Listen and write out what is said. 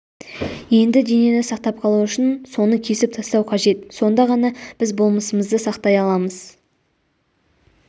енді денені сақтап қалу үшін соны кесіп тастау қажет сонда ғана біз болмысымызды сақтай ааламыз